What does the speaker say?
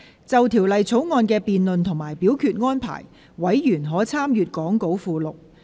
就《條例草案》的辯論及表決安排，委員可參閱講稿附錄。